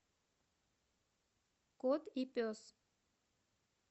кот и пес